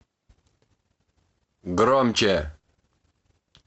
громче